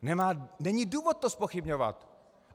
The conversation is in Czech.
Není důvod to zpochybňovat.